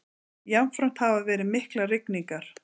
Jafnframt hafa verið miklar rigningar